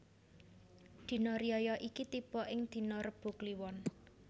Dina riyaya iki tibo ing dina Rebo Kliwon